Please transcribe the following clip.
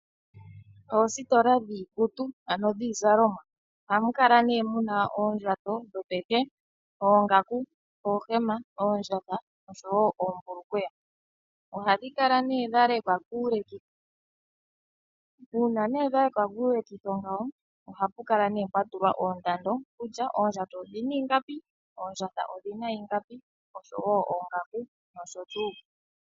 Oositola dhiikutu ano dhiizalomwa ohamu kala nee muna oondjato dhopeke ano oongaku oondjato noohema oshowo oohulukweya ohadhi kala nee dhalekwa kuulekitho uuna nee dha lekwa kuulekitho ngawo ohapu kala nee pwa tulwa oondando kutya oondjato odhina ingapi oshowo oongaku oshowo oondjato.